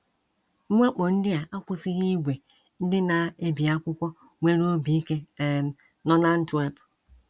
Mwakpo ndị a akwụsịghị ìgwè ndị na - ebi akwụkwọ nwere obi ike um nọ n’Antwerp.